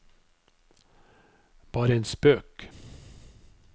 bare en spøk